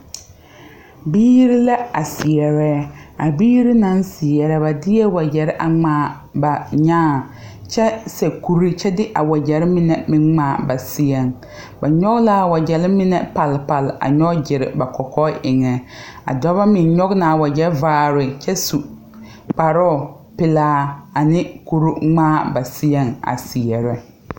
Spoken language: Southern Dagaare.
Biire la a seɛrɛ a biire naŋ seɛrɛ ba deɛɛ wagyɛrre a ngmaa ba nyaa kyɛ seɛ kure kyɛ de a wagyɛrre mine meŋ ngmaa ba seɛŋ ba nyoge laa wagyɛrre mine palpale a nyoge gyire ba kɔkɔɛ eŋɛ a dɔbɔ meŋ nyoge naa wagyɛ vaare kyɛ su kparoo pelaa ne kure ngmaa ba seɛŋ a seɛrɛ.